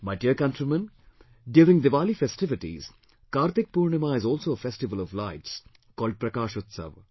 My dear countrymen, during Diwali festivities, Kartik Purnima is also a festival of lights called PRAKASH UTSAV